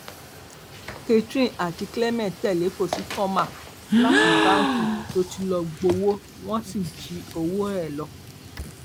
catherine àti clement tẹlẹ kọsitọmà láti báǹkì tó ti lọọ gbowó wọn sì jí owó ẹ lọ